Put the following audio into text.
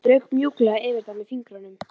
Hún strauk mjúklega yfir það með fingrunum.